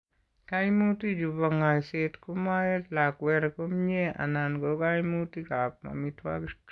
Kaimutikchu bo ng'aiset komaet lakwer komnyie anan ko kaimutikab amitwogik.